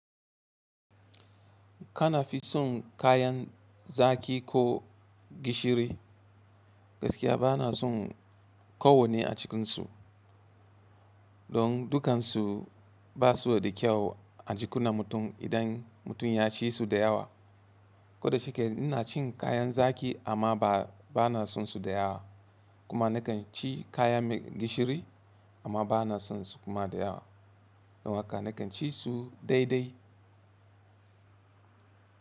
Kana fi son kayan zaki ko gishiri? Gaskiya bana son kowanne a cikinsu don dukansu basu da kyau a jikunan mutum idan mutum ya ci su da yawa. Koda shike ina cin kayan zaki amma bana sonsu da yawa kuma nakan ci kayan gishiri amma bana sonsu kuma da yawa don haka nakan ci su daidai.